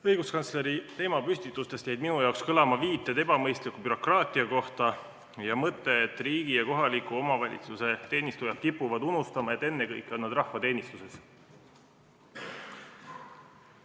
Õiguskantsleri teemapüstitustest jäid minu jaoks kõlama viited ebamõistliku bürokraatia kohta ja mõte, et riigi ja kohaliku omavalitsuse teenistujad kipuvad unustama, et ennekõike on nad rahva teenistuses.